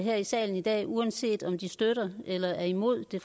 her i salen i dag uanset om de støtter eller er imod det